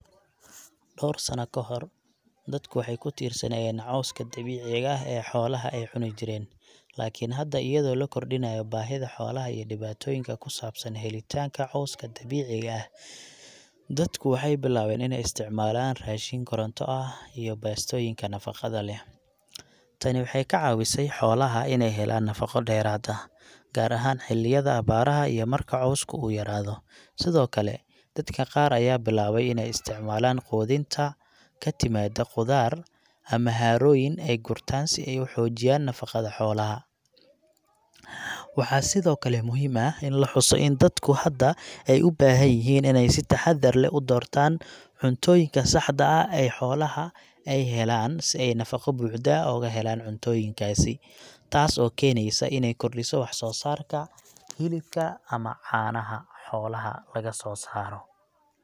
Dhowr sana ka hor, dadku waxay ku tiirsanaayeen cawska dabiiciga ah ee xoolaha ay cuni jireen, laakiin hadda, iyadoo la kordhinayo baahida xoolaha iyo dhibaatooyinka ku saabsan helitaanka cawska dabiiciga ah, dadku waxay bilaabeen inay isticmaalaan raashin koronto ah iyo baastooyinka nafaqada leh. Tani waxay ka caawisay xoolaha inay helaan nafaqo dheeraad ah, gaar ahaan xilliyada abaaraha iyo marka cawska uu yaraado. Sidoo kale, dadka qaar ayaa bilaabay inay u isticmaalaan quudinta ka timaadda khudaar ama harooyin ay gurtaan si ay u xoojiyaan nafaqada xoolaha. Waxaa sidoo kale muhiim ah in la xuso in dadku hadda ay u baahan yihiin inay si taxadar leh u doortaan cuntooyinka saxda ah ay xoolaha ay u helaan nafaqo buuxda ah ooga helaan cuntooyin kaasi, taas oo keenaysa inay kordhiso wax-soo-saarka hilibka ama caanaha xoolaha lagasoo saaro.